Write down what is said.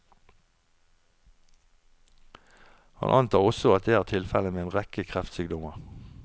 Han antar også at det er tilfelle med en rekke kreftsykdommer.